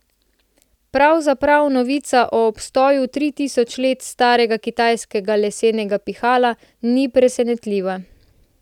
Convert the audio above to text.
Pravzaprav novica o obstoju tri tisoč let starega kitajskega lesenega pihala ni presenetljiva.